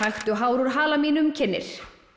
taktu hár úr hala mínum kynnir